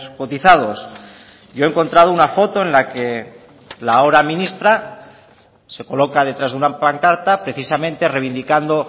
cotizados yo he encontrado una foto en la que la ahora ministra se coloca detrás de una pancarta precisamente reivindicando